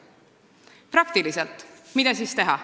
Mida siis praktikas teha?